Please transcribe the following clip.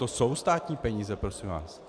To jsou státní peníze, prosím vás.